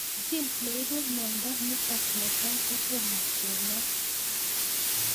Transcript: Gene neipu miondo nitok netai kotomo kenai